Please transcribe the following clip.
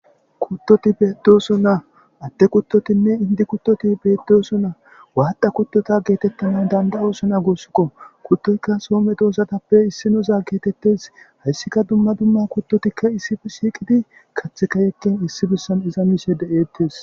Kuttoti beettosona adde kuttotinne indi kuttoti beettosona. Waadda kuttota geetettanaw danda'osona guussuko. Kuttotikka soo medosatappe issinoza geetettees. Hessikka dumma dumma kuttoti issippe shiiqidi kaththika issi bessan mishe de'ettes.